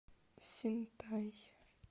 синтай